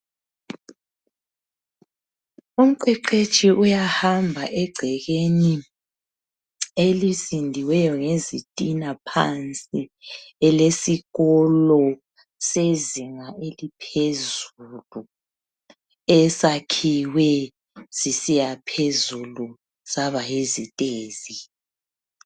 Umqeqetshi uyahamba egcekeni elisindiweyo ngezitina phansi elesikolo sezinga eliphezulu esakhiwe sisiya phezulu saba yizitezi.